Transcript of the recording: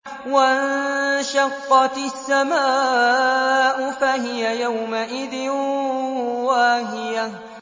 وَانشَقَّتِ السَّمَاءُ فَهِيَ يَوْمَئِذٍ وَاهِيَةٌ